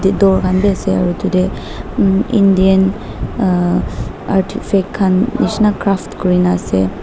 bithor khan be ase aru etu teh um indian aa arti fake khan nisna craft kori na ase.